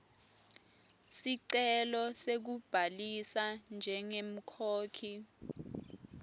sicelo sekubhalisa njengemkhokhi